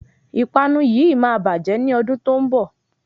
Ìpanu yíì máa bàjẹ́ ní ọdún tó ń bọ̀.